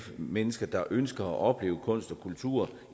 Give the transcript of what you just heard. mennesker der ønsker at opleve kunst og kultur